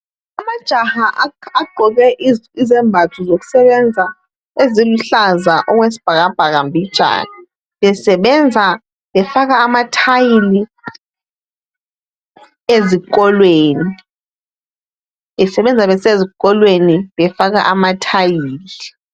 Amajaha agqoke izembatho zokusebenza eziluhlaza okwesibhakabhaka mbijana. Besebenza befaka amathayili ezikolweni besebenza besezikolweni befaka amathayili